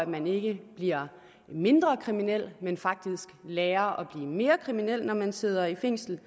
man ikke bliver mindre kriminel men faktisk lærer at blive mere kriminel når man sidder i fængsel